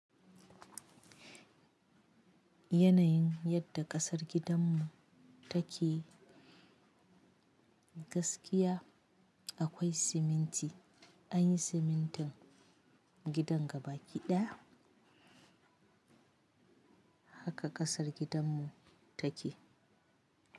Yanayin yadda ƙasar gidanmu take gaskiya akwai siminti. An yi simintin gidan gabaki ɗaya haka ƙasar gidanmu take.